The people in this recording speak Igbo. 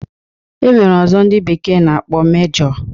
E nwere ọzọ ndị bekee na-akpọ Mejọ